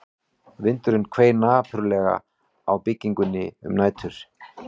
Vindurinn hvein napurlega á byggingunni um nætur